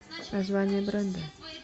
название бренда